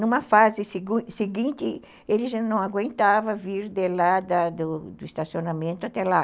Numa fase seguinte, ele já não aguentava vir de lá do do estacionamento até lá.